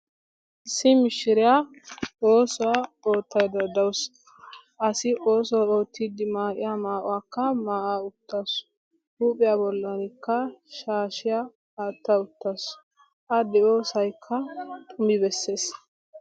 issi mishiriya oossuwaa oottayidda dawus. asi oosuwaa oottiidi maa'iya maa'uwaakka maa'a uttasu. huuphiya bollankka shaashiya aatta uttaasu. a de'iyoosayikka xumi bessees.